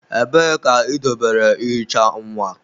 Ebee ka idobere ihicha nwa?